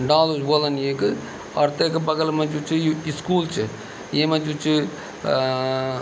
डालू भी बुवालदन येक और तेका बगल मा जू च यु स्कूल च येमा जू च अ-अ-अ --